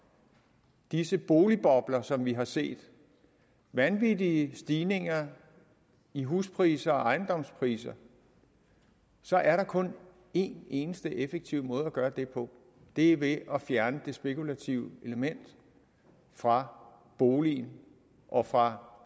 disse boligbobler som vi har set vanvittige stigninger i huspriser og ejendomspriser så er der kun en eneste effektiv måde at gøre det på og det er ved at fjerne det spekulative element fra boligen og fra